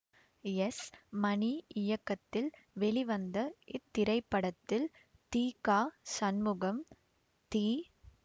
S Mani இயக்கத்தில் வெளிவந்த இத்திரைப்படத்தில் தி க சண்முகம் தி